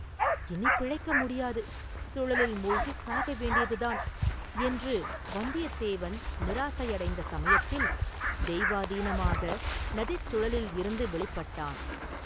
“இனிப் பிழைக்க முடியாது, சுழலில் மூழ்கிச் சாக வேண்டியதுதான்!” என்று வந்தியத்தேவன் நிராசை அடைந்த சமயத்தில் தெய்வாதீனமாக நதிச் சுழலிலிருந்து வௌிப்பட்டான்.